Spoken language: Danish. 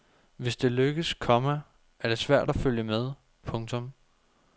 Hvis det lykkes, komma er det svært at følge med. punktum